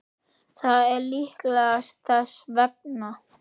Það er líklega þess vegna.